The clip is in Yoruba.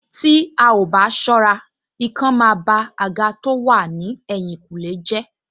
Tí a ò bá ṣọ́ra, ikán máa ba àga tó wà ní ẹ̀tìnkùlé jẹ́